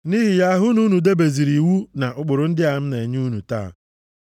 Nʼihi ya, hụ na unu debezuru iwu na ụkpụrụ ndị a m na-enye unu taa.